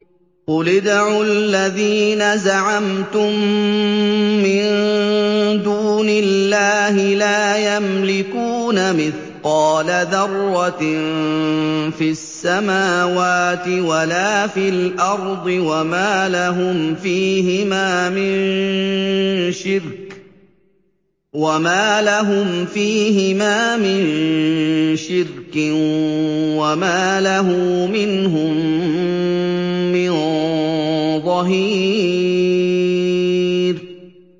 قُلِ ادْعُوا الَّذِينَ زَعَمْتُم مِّن دُونِ اللَّهِ ۖ لَا يَمْلِكُونَ مِثْقَالَ ذَرَّةٍ فِي السَّمَاوَاتِ وَلَا فِي الْأَرْضِ وَمَا لَهُمْ فِيهِمَا مِن شِرْكٍ وَمَا لَهُ مِنْهُم مِّن ظَهِيرٍ